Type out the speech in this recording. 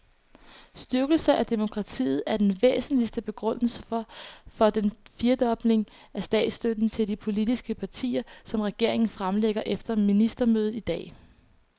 Styrkelse af demokratiet er den væsentligste begrundelse for den firedobling af statsstøtten til de politiske partier, som regeringen fremlægger efter ministermødet i dag.